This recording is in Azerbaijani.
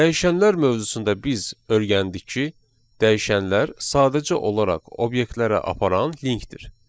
Dəyişənlər mövzusunda biz öyrəndik ki, dəyişənlər sadəcə olaraq obyektlərə aparan linkdir.